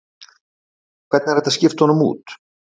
Hvernig er hægt að skipta honum út?